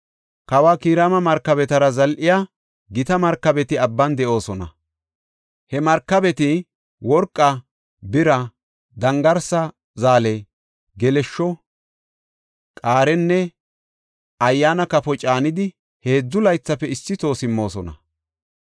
Kawa Kiraama markabetara zal7iya gita markabeti abban de7oosona. He markabeti worqa, bira, dangarsa zaale, geleshsho, qaarenne ayyaana kafo caanidi heedzu laythafe issi toho simmoosona.